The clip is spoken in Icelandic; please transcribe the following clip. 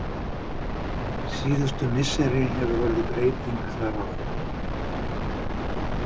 Síðustu misseri hefur orðið breyting þar á.